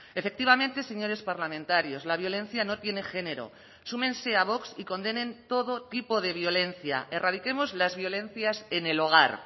efectivamente señores parlamentarios la violencia no tiene género súmense a vox y condenen todo tipo de violencia erradiquemos las violencias en el hogar